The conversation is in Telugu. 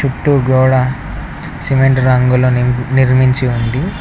చుట్టూ గోడ సిమెంటు రంగుల నిర్మించి ఉంది.